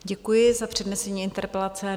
Děkuji za přednesení interpelace.